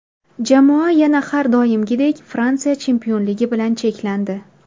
Jamoa yana har doimgidek Fransiya chempionligi bilan cheklandi.